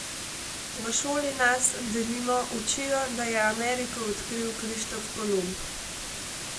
V šoli nas, denimo, učijo, da je Ameriko odkril Krištof Kolumb.